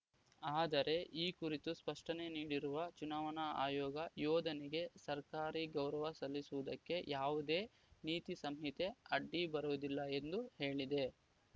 ಆದರೆ ಈ ಕುರಿತು ಸ್ಪಷ್ಟನೆ ನೀಡಿರುವ ಚುನಾವಣಾ ಆಯೋಗ ಯೋಧನಿಗೆ ಸರ್ಕಾರಿ ಗೌರವ ಸಲ್ಲಿಸುವುದಕ್ಕೆ ಯಾವುದೇ ನೀತಿ ಸಂಹಿತೆ ಅಡ್ಡಿ ಬರುವುದಿಲ್ಲ ಎಂದು ಹೇಳಿದೆ